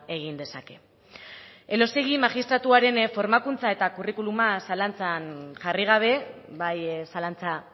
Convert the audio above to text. egin dezake elósegui magistratuaren formakuntza eta curriculuma zalantzan jarri gabe bai zalantza